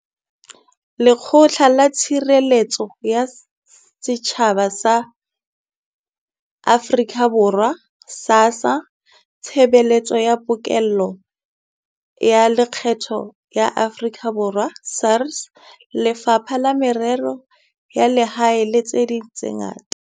Lekgotla la Tshireletso ya Setjhaba la Afrika Borwa, SASSA, Tshebeletso ya Pokello ya Lekgetho ya Afrika Borwa, SARS, Lefapha la Merero ya Lehae le tse ding tse ngata.